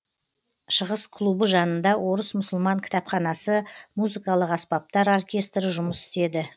шығыс клубы жанында орыс мұсылман кітапханасы музыкалық аспаптар оркестрі жұмыс істеді